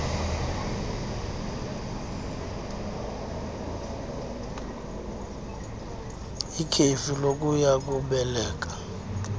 ikhefu lokuya kubeleka